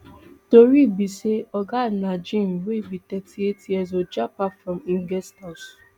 tori be say oga najeem wey be thirty-eight years old japa from im guest house